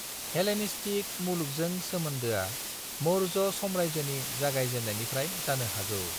Hellenistic मुलुगजों सोमोन्दोआ मौर्य साम्रायजोनि जागायजेन्नायनिफ्राय जानो हागौ।